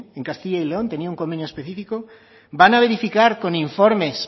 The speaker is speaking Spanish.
en castilla y león tenía un convenio específico van a verificar con informes